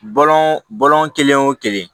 Bɔlɔn bɔlɔn kelen o kelen